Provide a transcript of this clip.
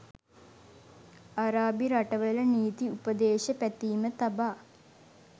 අරාබි රටවල නීති උපදේශ පැතීම තබා